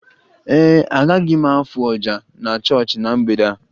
Ee e, agaghị m afụ oja na chọọchị na mgbede a